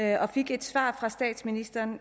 jeg fik det svar fra statsministeren